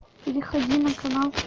перехожу на канал